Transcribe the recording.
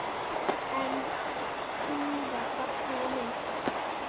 Enn var fagnað og myndað.